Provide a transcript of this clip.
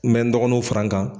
N bɛ n dɔgɔninw fara n kan.